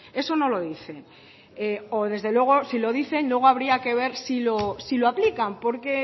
eso no lo dice o desde luego si lo dicen luego habría que ver si lo aplican porque